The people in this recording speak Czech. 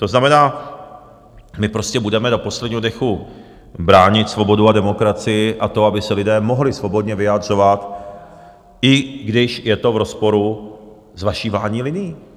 To znamená, my prostě budeme do posledního dechu bránit svobodu a demokracii a to, aby se lidé mohli svobodně vyjadřovat, i když je to v rozporu s vaší vládní linii.